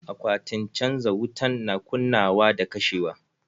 Akwatin canja wutan na kunnawa da kashewa.